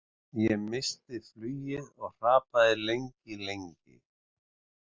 Ég missti flugið og hrapaði lengi, lengi.